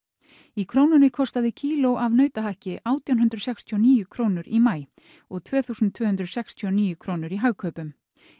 í Krónunni kostaði kíló af nautahakki átján hundruð sextíu og níu krónur í maí og tvö þúsund og tvö hundruð sextíu og níu krónur í Hagkaupum